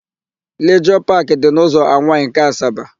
Lijọọ Paakị dị n'ụzọ Anwaị nke Asaba.